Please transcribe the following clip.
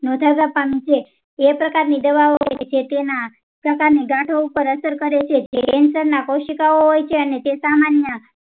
નોંધપાત્ર છે એ પ્રકારની દવા હોય છે તેના પ્રકારની ગાંઠો ઉપ્પર અસર કરે છે તે કોઉસીકાઓ હોય છે અને તે સામાન્ય